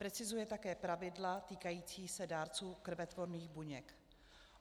Precizuje také pravidla týkající se dárců krvetvorných buněk.